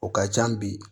O ka can bi